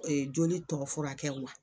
joli tɔgɔ furakɛli la